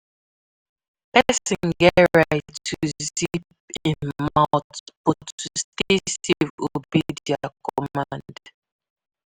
Oga police no get right to search you anyhow except say dem um get warrant